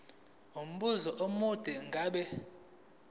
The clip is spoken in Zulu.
umbuzo omude ngabe